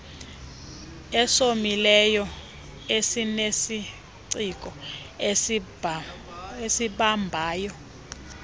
esomileyo esinesiciko esibambayo